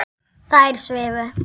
Þær svifu.